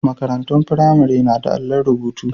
Marantun firamare na da allon rubutu.